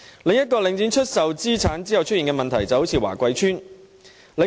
另一個領展出售資產後出現的問題可以華貴邨作為例子。